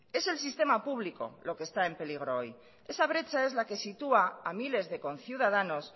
es el sistema público lo que esta en peligro hoy esa brecha es la que sitúa a miles de conciudadanos